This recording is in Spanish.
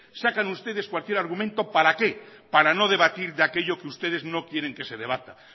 sacan ustedes cualquier argumento para qué para no debatir de aquello que ustedes no quieren que se debata